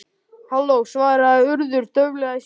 Halló- svaraði Urður dauflega í símann.